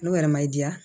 N'o yɛrɛ ma i diya